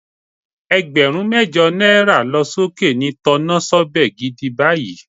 Ẹgbẹ̀rún mẹ́jọ náírà lọ sókè ni tọnásọ́bẹ̀ gidi báyìí